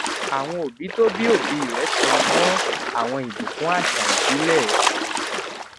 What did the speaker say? àwọn òbí tó bí òbí rè tẹnu mó àwọn ìbùkún àṣà ìbílè